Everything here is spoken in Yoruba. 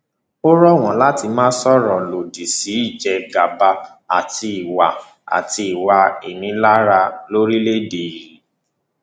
ó rọ wọn láti máa sọrọ lòdì sí ìjẹgàba àti ìwà àti ìwà ìnilára lórílẹèdè yìí